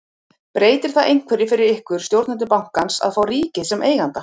Breytir það einhverju fyrir ykkur, stjórnendur bankans að fá ríkið sem eiganda?